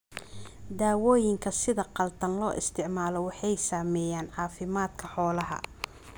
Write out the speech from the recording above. Daawooyinka sida khaldan loo isticmaalo waxay saameeyaan caafimaadka xoolaha.